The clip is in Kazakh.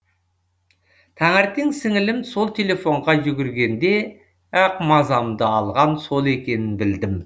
таңертен сіңілім сол телефонға жүгіргенде ақ мазамды алған сол екенін білдім